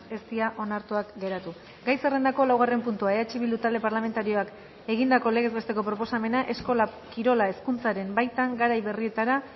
ez dira onartuak geratu gai zerrendako laugarren puntua eh bildu talde parlamentarioak egindako legez besteko proposamena eskola kirola hezkuntzaren baitan garai berrietara